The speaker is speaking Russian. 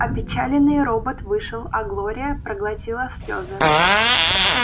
опечаленный робот вышел а глория проглотила слёзы